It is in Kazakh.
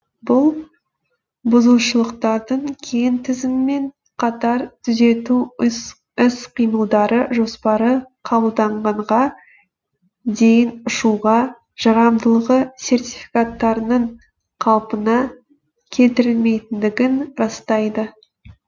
бұл бұзушылықтардың кең тізімімен қатар түзету іс қимылдары жоспары қабылданғанға дейін ұшуға жарамдылығы сертификаттарының қалпына келтірілмейтіндігін растайды